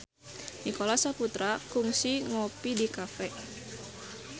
Nicholas Saputra kungsi ngopi di cafe